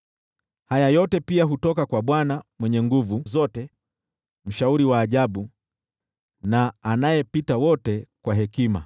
Haya yote pia hutoka kwa Bwana Mwenye Nguvu Zote, mwenye mashauri ya ajabu, na anayepita wote kwa hekima.